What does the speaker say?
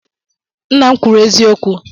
Nna m kwuru eziokwu.